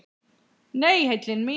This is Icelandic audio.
Nei, heillin mín.